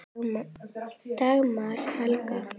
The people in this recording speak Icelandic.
Dagmar Helga.